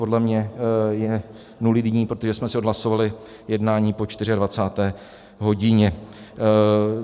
Podle mě je nulitní, protože jsme si odhlasovali jednání po 24. hodině.